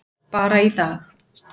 Bara í dag.